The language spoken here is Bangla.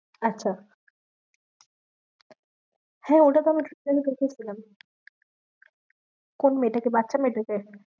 আচ্ছা হ্যাঁ, ওটা তো আমি একটুখানি দেখেছিলাম কোন মেয়েটাকে? বাচ্চা মেয়েটাকে?